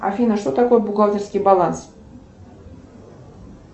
афина что такое бухгалтерский баланс